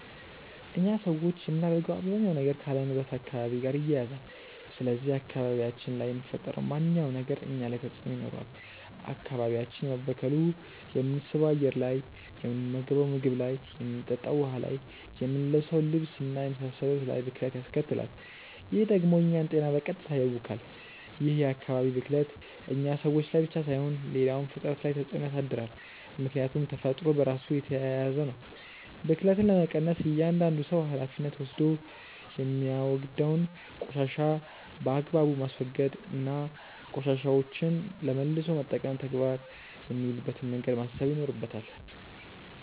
እኛ ሰዎች የምናደርገው አባዛኛው ነገር ካለንበት አካባቢ ጋር ይያያዛል። ስለዚህ አካባቢያችን ላይ የሚፈጠረው ማንኛውም ነገር እኛ ላይ ተጽእኖ ይኖረዋል። አካባቢያችን መበከሉ የምንስበው አየር ላይ፣ የምንመገንው ምግብ ላይ፣ የምንጠጣው ውሀ ላይ፣ የምንለብሰው ልብስ እና የመሳሰሉት ላይ ብክለት ያስከትላል። ይህ ደግሞ የእኛን ጤና በቀጥታ ያውካል። ይህ የአካባቢ ብክለት እኛ ሰዎች ላይ ብቻ ሳይሆን ሌላውም ፍጥረት ላይ ተፅእኖ ያሳድራል። ምክያቱም ተፈጥሮ በራሱ የተያያዘ ነው። ብክለትን ለመቀነስ እያዳንዱ ሰው ሀላፊነት ወስዶ የሚያወግደውን ቆሻሻ በአግባቡ ማስወገድ እና ቆሻሻዎችን ለመልሶ መጠቀም ተግባር የሚውልበትን መንገድ ማሰብ ይኖርበታል።